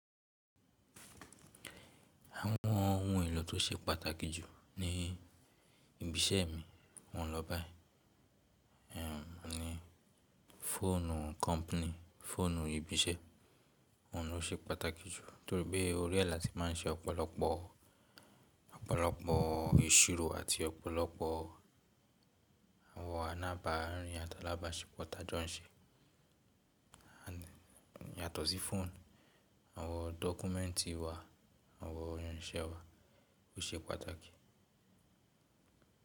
Àwọn ohun èlò tó ṣe pàtàkì jù ní ibi iṣẹ́ mi, wọ́n lọ báyìí. Òùn ni fóònù company, fóònù ibi iṣẹ́. Òùn ló ṣe pàtàkì jù nítorí pé orí ẹ̀ láti máa ń ṣe ọ̀pọ̀lọpọ̀, ọ̀pọ̀lọpọ̀ ìṣirò àti ọ̀pọ̀lọpọ̀ àwọn ánábà, àrin àtàlába ṣepọ̀ tajọ̀ ń ṣe. Yàtọ̀ sí fóònù, àwọn dọ́kúmẹ́ǹtì wa, àwọn oyún iṣẹ́ wa ó ṣe pàtàkì.